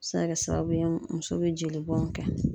A bɛ se ka kɛ sababu ye muso bɛ jeli bɔn kɛ.